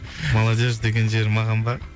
молодежь деген жері маған ба